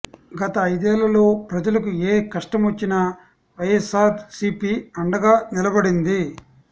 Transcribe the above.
గత ఐదేళ్లలో ప్రజలకు ఏ కష్టమొచ్చినా వైఎస్సార్ సీపీ అండగా నిలబడింది